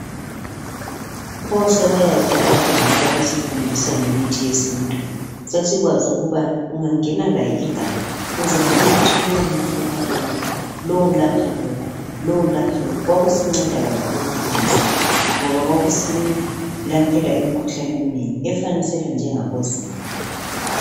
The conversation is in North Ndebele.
Pho sebayaphi abadala ababesifundisa ngemithi yesintu. Sasikwazi ukuba ungangena laye iganga, uzatshel'ukuthi lo muthi uyelapha lokhu lalokhuyana. Kwakusinceda kakhulu empilweni zethu, ngoba kwakusilaphela imikhuhlane eminengi efanisela njengabo zinyo.